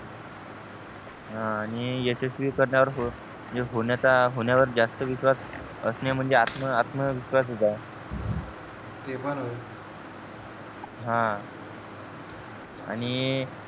हा आणि यशस्वी करण्यावर होण्याचा होण्यावर जास्त विश्वास असणे म्हणजे आत्मविश्वास चं आहे ते पण आहे हा आणि